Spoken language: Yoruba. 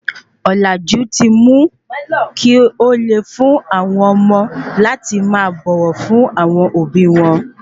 Olaju ti mu ki óle fun awọn omo láti máa bọwọ fún àwọn òbí wọn